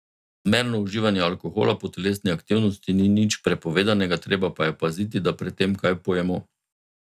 Zmerno uživanje alkohola po telesni aktivnosti ni nič prepovedanega, treba pa je paziti, da pred tem kaj pojemo.